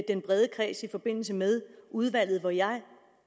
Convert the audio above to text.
den brede kreds i forbindelse med udvalget hvor jeg